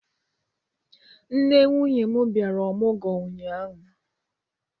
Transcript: Nne nwunye m bịara ọmụgwọ ụnyaahụ.